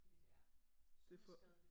Fordi det er sundhedsskadeligt